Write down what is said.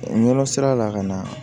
Nɔnɔ sira la ka na